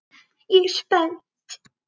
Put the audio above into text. Ég er spennt.